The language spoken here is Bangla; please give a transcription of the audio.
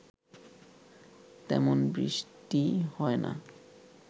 তেমন বৃষ্টি হয় না